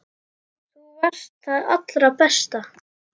Þú varst það allra besta.